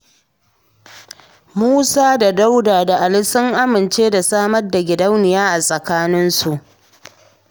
Musa da Dauda da Ali sun amince da samar da gidauniya a tsakaninsu.